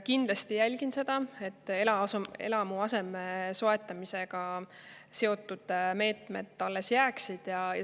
Kindlasti ma jälgin seda, et eluaseme soetamisega seotud meetmed alles jääksid.